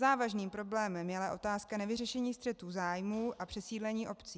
Závažným problémem je ale otázka nevyřešení střetu zájmů a přesídlení obcí.